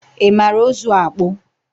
ị mara ụzụ akpụ?